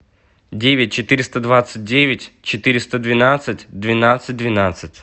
девять четыреста двадцать девять четыреста двенадцать двенадцать двенадцать